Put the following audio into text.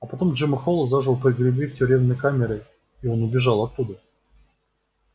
а потом джима холла заживо погребли в тюремной камере и он убежал оттуда